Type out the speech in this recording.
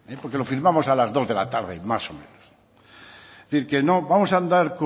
porque lo firmamos a las dos de la tarde más o menos es decir vamos a andar